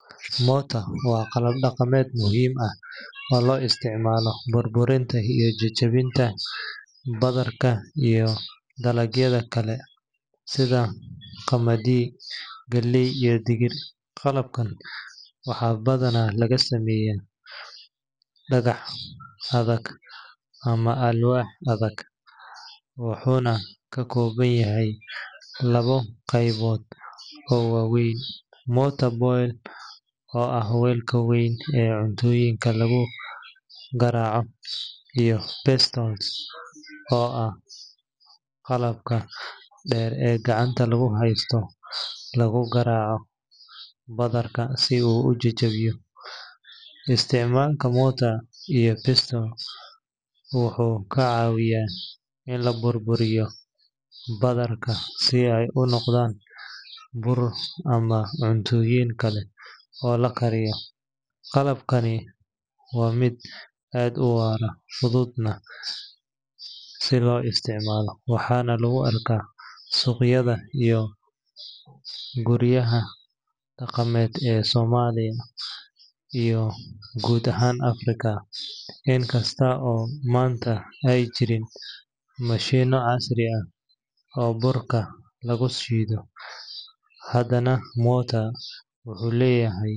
Mortar waa qalab dhaqameed muhiim ah oo loo isticmaalo burburinta iyo jajabinta badarka iyo dalagyada kale sida qamadi, galley, iyo digir. Qalabkan waxaa badanaa laga sameeyaa dhagax adag ama alwaax adag, wuxuuna ka kooban yahay labo qaybood oo waaweyn: mortar bowl oo ah weelka weyn ee cuntooyinka lagu garaaco, iyo pestle oo ah qalabka dheer ee gacanta lagu haysto laguna garaaco badarka si uu u jajabo. Isticmaalka mortar iyo pestle wuxuu ka caawiyaa in la burburiyo badarka si ay u noqdaan bur ama cuntooyin kale oo la kariyo. Qalabkani waa mid aad u waara, fududna in la isticmaalo, waxaana lagu arkaa suuqyada iyo guryaha dhaqameed ee Soomaaliya iyo guud ahaan Afrika. In kasta oo maanta ay jiraan mashiinno casri ah oo burka lagu shiido, haddana mortar wuxuu leeyahay muhiimad.